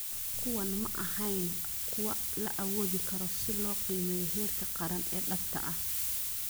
Kuwani ma ahayn kuwo la awoodi karo si loo qiimeeyo heerka qaran ee dhabta ah.